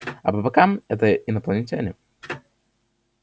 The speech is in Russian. а по бокам это инопланетяне